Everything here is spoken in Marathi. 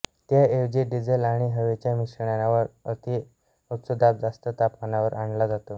त्या ऐवजी डिझेल आणि हवेच्या मिश्रणावर अति उच्च दाब जास्त तापमानावर आणला जातो